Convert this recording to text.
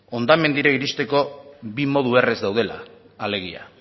hondamendira iristeko bi modu erraz daudela alegia